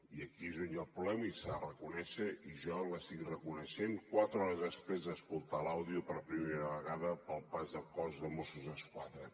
i aquí és on hi ha el problema i s’ha de reconèixer i jo l’estic reconeixent quatre hores després d’escoltar l’àudio per primera vegada per part del cos de mossos d’esquadra